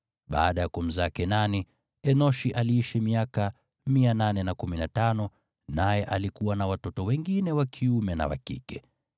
Baada ya kumzaa Kenani, Enoshi aliishi miaka 815, naye alikuwa na watoto wengine wa kiume na wa kike.